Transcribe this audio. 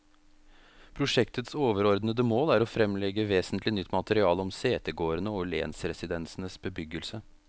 Prosjektets overordede mål er å fremlegge vesentlig nytt materiale om setegårdene og lensresidensenes bebyggelse.